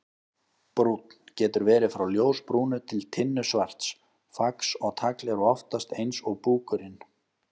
Brúnn: Getur verið frá ljósbrúnu til tinnusvarts, fax og tagl eru oftast eins og búkurinn.